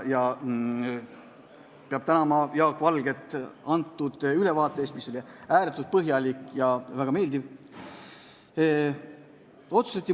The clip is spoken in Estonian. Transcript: Peab tänama Jaak Valget antud ülevaate eest, mis oli ääretult põhjalik ja väga meeldiv.